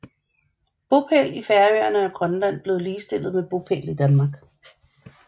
Bopæl i Færøerne og Grønland blev ligestillet med bopæl i Danmark